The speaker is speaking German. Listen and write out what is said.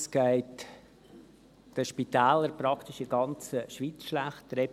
Es geht den Spitälern praktisch in der ganzen Schweiz schlecht.